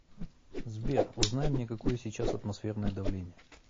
сбер узнай мне какое сейчас атмосферное давление